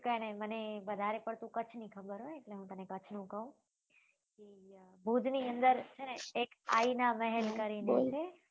કઈ નહિ મને વધારે પડતું કચ્છ નું ખબર હોય એટલે હું તને કચ્છ નું કહું ભુજ ની અંદર છે ને એક આઈના મહેલ કરીને છે